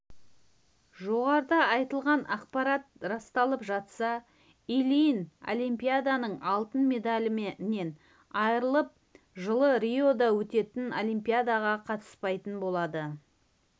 жоғарыда айтылған ақпарат расталып жатса ильин олимпиаданың алтын медалінен айырылып жылы риода өтетін олимпиадаға қатыспайтын болады